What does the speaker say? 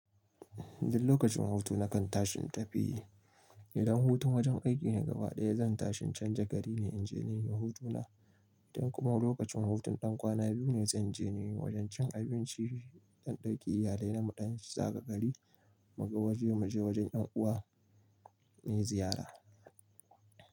Duk lokacin hutu na kan tashi in tafi. Idan hutun wajen aiki ne gaba ɗaya, zan tashi in canja gari ne inje nayi hutu na. Tin kuma lokacin hutun ɗan kwana biyu ne zan je yawon cin abinci, ɗan ɗauki iyalai na muɗan zaga gari mu ga waje mu je wajen yan uwa ko ziyara.